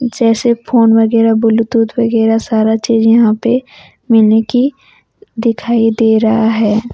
जैसे फोन वगैरह ब्लूटूथ वगैरह सारा चीज यहां पे मिलने की दिखाई दे रहा है।